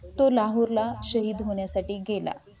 तुला शहीद होण्यासाठी गेला